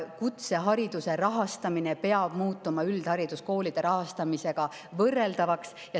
Kutsehariduse rahastamine peab muutuma üldhariduskoolide rahastamisega võrreldavaks.